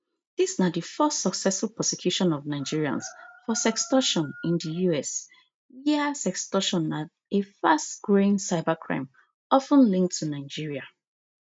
dis na di first successful prosecution of nigerians for sextortion in di us wia sextortion na a fast growing cybercrime of ten linked to nigeria